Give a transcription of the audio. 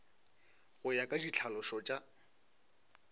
go ya ka ditlhalošo tša